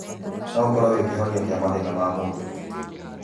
Noũkorwo wĩ kĩhonia kĩa mathĩna ma mũndũ.